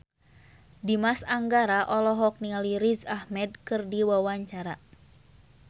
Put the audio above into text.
Dimas Anggara olohok ningali Riz Ahmed keur diwawancara